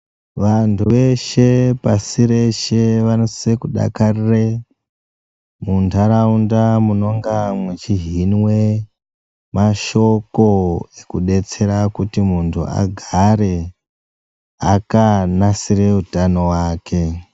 Vanthu veshe pashi reshe vanosisa kudakarire muntaraunta munenge muchihinwe mashoko kudetsera kuti munthu agare akanasire utano wake.